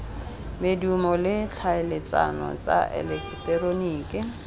medumo le tlhaeletsano tsa eleketeroniki